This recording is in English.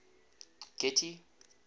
getty